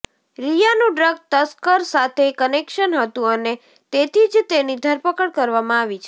રિયાનું drug તસ્કર સાથે connection હતું અને તેથી જ તેની ધરપકડ કરવામાં આવી છે